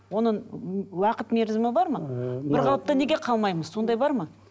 оның уақыт мерзімі бар ма бір қалыпты неге қалмаймыз сондай бар ма